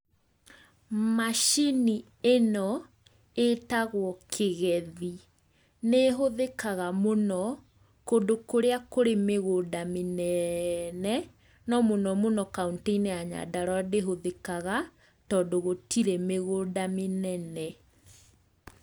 Macini ĩno ĩtagwo kĩgethi, nĩ ĩhuthĩkaga mũno, kũndũ kũrĩa kũrĩ mĩgũnda mĩnene, no mũno mũno kauntĩ-inĩ ya Nyandarũa ndĩhũthĩkaga, tondũ gũtirĩ mĩgũnda mĩnene.